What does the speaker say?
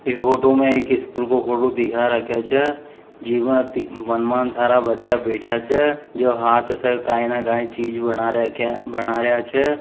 ई photo में एक school को फोटो दिखा रखिया छे जीमे टी वनमा बच्चा सारा बेठा छे जो हाथ से काई न काई चीज़ बना रख्ख बना रिया छे।